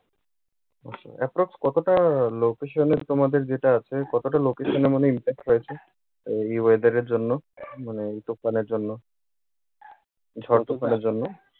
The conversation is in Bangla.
আচ্ছা approximate কতোটা location এ তোমাদের যেটা আছে কতোটা location এ মানে impact হয়েছে এ এই weather এর জন্য মানে এই তুফানের জন্য। ঝড় তুফানের জন্য